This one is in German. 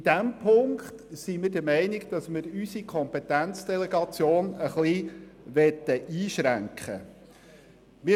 In dem Punkt sind wir der Meinung, dass wir unsere Kompetenzdelegation leicht einschränken wollen.